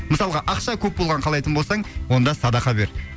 мысалға ақша көп болғанын қалайтын болсаң онда садақа бер